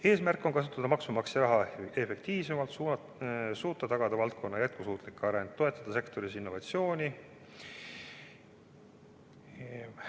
Eesmärk on kasutada maksumaksja raha efektiivsemalt, suuta tagada valdkonna jätkusuutlik areng, toetada sektoris innovatsiooni.